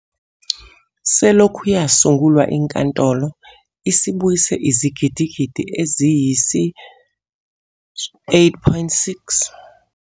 Selokhu yasungulwa, iNkantolo isibuyise izigidigidi eziyisi-R8.6 kwizinkontileka ezakhishwa ngokungemthetho.